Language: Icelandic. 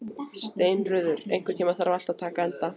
Steinröður, einhvern tímann þarf allt að taka enda.